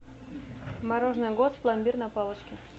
мороженое гост пломбир на палочке